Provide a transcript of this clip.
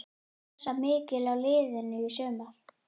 Er pressan mikil á liðinu í sumar?